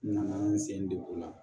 N nana n sen degun la